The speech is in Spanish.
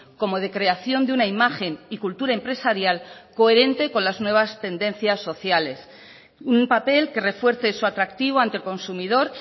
como de creación de una imagen y cultura empresarial coherente con las nuevas tendencias sociales un papel que refuerce su atractivo ante el consumidor